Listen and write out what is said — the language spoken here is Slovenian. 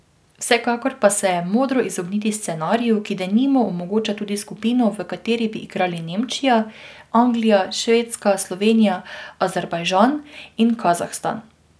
Vsekakor pa se je modro izogniti scenariju, ki denimo omogoča tudi skupino, v kateri bi igrali Nemčija, Anglija, Švedska, Slovenija, Azerbajdžan in Kazahstan.